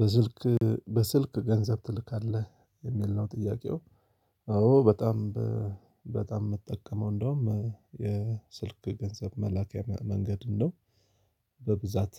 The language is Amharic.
በስልክ በስልክ ገንዘብ ትልካለህ የሚል ነው ጥያቄው? አዎ በጣም በጣም የምጠቀመው እንደውም የስልክ ገንዘብ መላኪያ መንገድን ነው። በብዛት